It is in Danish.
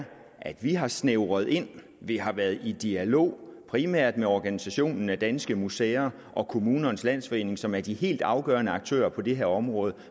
at vi har snævret ind vi har været i dialog primært med organisationen danske museer og kommunernes landsforening som er de helt afgørende aktører på det her område